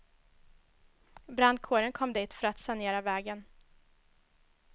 Brandkåren kom dit för att sanera vägen.